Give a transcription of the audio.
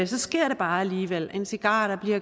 så sker det bare alligevel en cigar der bliver